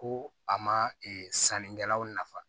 Ko a ma sannikɛlaw nafa